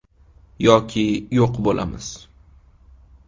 Yoki yo‘q bo‘lamiz”.